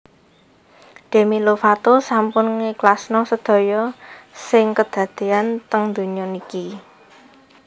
Demi Lovato sampun ngikhlasno sedaya sing kedadean teng donya niki